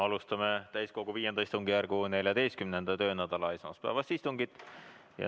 Alustame täiskogu V istungjärgu 14. töönädala esmaspäevast istungit.